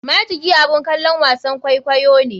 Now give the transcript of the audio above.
Majiki abun kalon wasan kwaikwayo ne.